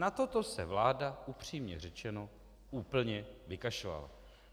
Na toto se vláda upřímně řečeno úplně vykašlala.